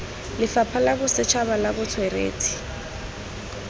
lefapha la bosetšhaba la botsweretshi